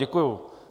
Děkuji.